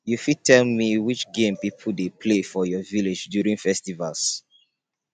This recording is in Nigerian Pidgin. you fit tell me which game people dey play for your village during festivals